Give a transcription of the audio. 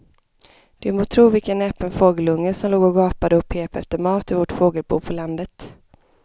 Du må tro vilken näpen fågelunge som låg och gapade och pep efter mat i vårt fågelbo på landet.